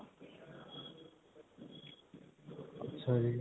ਅੱਛਾ ਜੀ.